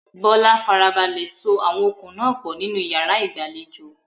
Bola farabalẹ̀ so àwọn okùn náà pọ̀ nínú yàrá ìgbàlejò.